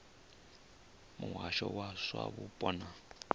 muhasho wa zwa mupo na